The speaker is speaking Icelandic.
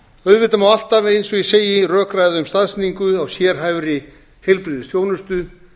auðvitað má alltaf eins og ég segi rökræða um staðsetningu á sérhæfðri heilbrigðisþjónustu